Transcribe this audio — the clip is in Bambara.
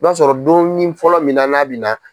I b'a sɔrɔ donin fɔlɔ min na n'a bi na